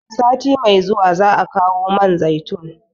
Sati mai zuwa za'a kawo man zaitun